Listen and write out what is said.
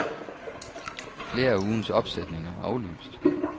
Flere af ugens opsætninger er aflyst.